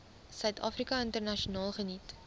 suidafrika internasionaal geniet